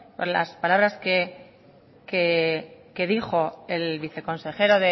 por las palabras que dijo el viceconsejero